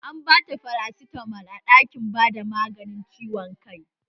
An bata farasitamol a ɗakin bada magani don ciwon kanta